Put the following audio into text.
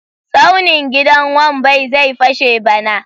Tsaunin gidan Wambai zai fashe bana.